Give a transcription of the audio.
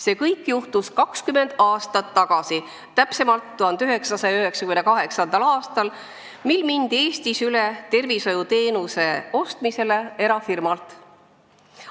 See kõik juhtus 20 aastat tagasi, täpsemalt 1998. aastal, mil Eestis mindi üle tervishoiuteenuse ostmisele erafirmalt.